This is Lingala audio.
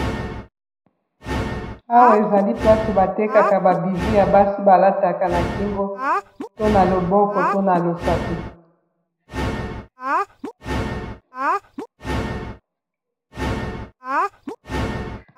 Awa ezali place batekaka ba bijou ya basi balataka na kingo to na loboko to na losapi.